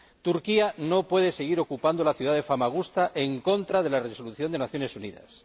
Turquía no puede seguir ocupando la ciudad de Famagusta en contra de la Resolución de las Naciones Unidas.